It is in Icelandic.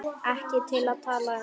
Ekki til að tala um.